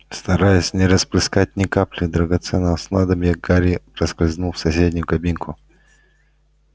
стараясь не расплескать ни капли драгоценного снадобья гарри проскользнул в соседнюю кабинку